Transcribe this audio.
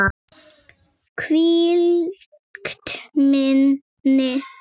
Hvílíkt minni!